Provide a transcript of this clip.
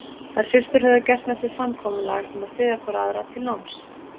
Þær systur höfðu gert með sér samkomulag um að styðja hvor aðra til náms.